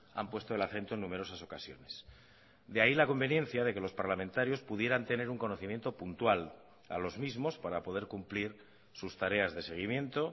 han puesto el acento en numerosas ocasiones de ahí la conveniencia de que los parlamentarios pudieran tener un conocimiento puntual a los mismos para poder cumplir sus tareas de seguimiento